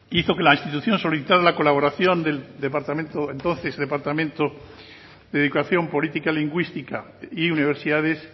hizo que la institución solicitara la colaboración del departamento entonces departamento de educación política lingüística y universidades